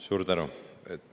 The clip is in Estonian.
Suur tänu!